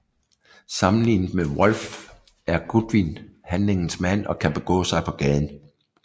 Sammenlignet med Wolfe er Goodwin handlingens mand og kan begå sig på gaden